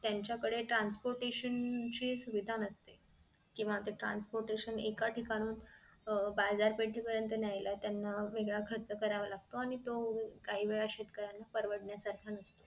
त्यांच्या कडे transportation ची सुविधा नसते केंव्हा transportation एका ठिकाणाहून अह बाजार पेठे पर्यंत नायला त्यांना वेगळा खर्च करावा लागतो आणि तो काही वेळा शेतकऱ्यांना परवडणार सारखं नसतो